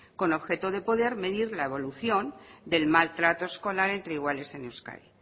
con objeto de poder medir la evolución del maltrato escolar entre iguales en euskadi